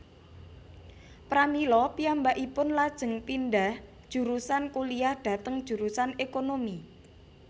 Pramila piyambakipun lajeng pindhah jurusan kuliyah dhateng jurusan ékonomi